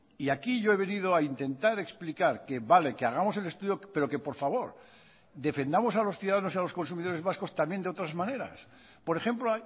y aquí yo he venido a intentar explicar que vale que hagamos el estudio pero que por favor defendamos a los ciudadanos y a los consumidores vascos también de otras maneras por ejemplo